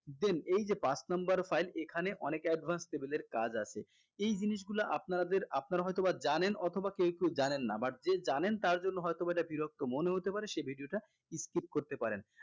then এইযে পাঁচ number file এখানে অনেক advance level এর কাজ আছে এই জিনিসগুলা আপনাদের আপনারা হয়তোবা জানেন অথবা কেউ কেউ জানেন না but যে জানেন তার জন্য হয়তোবা এটা বিরক্ত মনে হতে পারে সে video টা skip করতে পারেন